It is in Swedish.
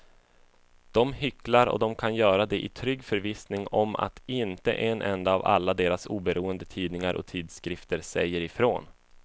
De hycklar och de kan göra det i trygg förvissning om att inte en enda av alla deras oberoende tidningar och tidskrifter säger ifrån.